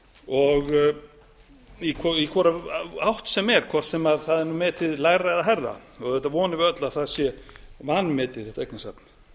og í hvora átt sem er hvort sem það er metið lægra eða hærra auðvitað vonum við öll að það sé vanmetið þetta eignasafn